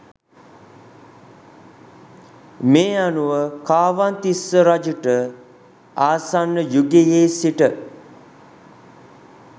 මේ අනුව කාවන්තිස්ස රජුට ආසන්න යුගයේ සිට